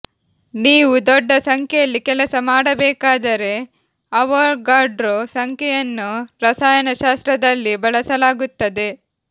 ನೀವು ದೊಡ್ಡ ಸಂಖ್ಯೆಯಲ್ಲಿ ಕೆಲಸ ಮಾಡಬೇಕಾದರೆ ಅವೊಗಡ್ರೊ ಸಂಖ್ಯೆಯನ್ನು ರಸಾಯನಶಾಸ್ತ್ರದಲ್ಲಿ ಬಳಸಲಾಗುತ್ತದೆ